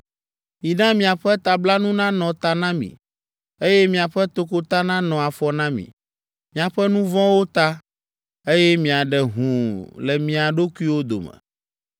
Mina miaƒe tablanu nanɔ ta na mi, eye miaƒe tokota nanɔ afɔ na mi; miaƒe nu vɔ̃wo ta, eye miaɖe hũu le mia ɖokuiwo dome.